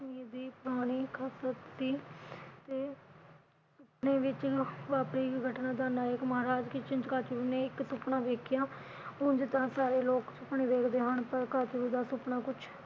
ਤੇ ਸੁਪਨੇ ਵਿਚ ਵਾਪਰੀ ਘਟਨਾ ਦਾ ਨੇ ਇਕ ਸੁਪਨਾ ਵੇਖਿਆ ਉਝ ਤਾਂ ਸਾਰੇ ਲੋਕ ਸੁਪਨੇ ਵੇਖਦੇ ਹਨ ਪਰ ਕਾਚੂ ਦਾ ਸੁਪਨਾ ਕੁਛ ਇਕ